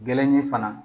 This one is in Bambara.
Gɛrɛni fana